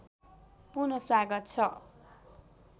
पुन स्वागत छ